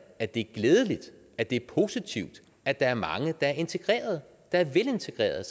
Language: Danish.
at det er glædeligt at det er positivt at der er mange der er integrerede der er velintegrerede